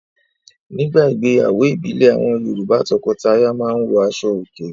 Nígbà ìgbéyàwó ìbílẹ̀ àwọn Yorùbá; tọkọtaya máa ń wọ aṣọòkè.